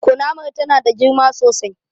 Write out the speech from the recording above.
Kunamar ta na da girma sosai